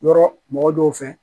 Yɔrɔ mɔgɔ dɔw fɛ